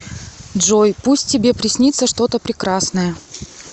джой пусть тебе приснится что то прекрасное